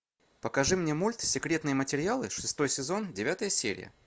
покажи мне мульт секретные материалы шестой сезон девятая серия